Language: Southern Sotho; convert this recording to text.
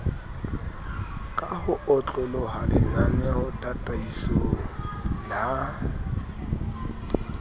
ka ho otloloha lenanetataisong la